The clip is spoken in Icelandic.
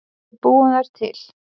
Við búum þær til